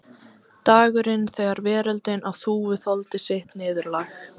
Dagurinn þegar veröldin á Þúfu þoldi sitt niðurlag.